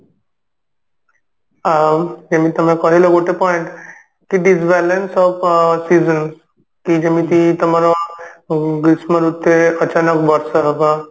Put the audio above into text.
ଆଉ ଯେମିତି ତମେ କହିଲ ଗୋଟେ point କି Disbalance of season କି ଯେମିତି ତମର ଉଁ ଗ୍ରୀଷ୍ମ ଋତୁରେ ଅଚାନକ ବର୍ଷା ହବା